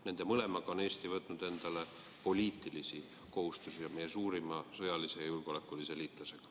Nende mõlemaga on Eesti võtnud endale poliitilisi kohustusi meie suurima sõjalise julgeolekulise liitlasega.